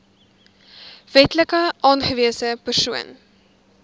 wetlik aangewese persoon